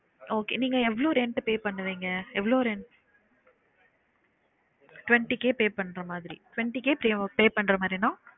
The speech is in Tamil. Okay நீங்க எவ்ளோ rent pay பண்ணுவிங்க? எவ்ளோ rent twenty K pay பண்ற மாதிரி twenty K pay pay பண்ற மாதிரினா